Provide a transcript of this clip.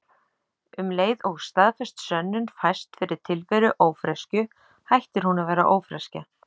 Um leið og staðfest sönnun fæst fyrir tilveru ófreskju hættir hún að vera ófreskja.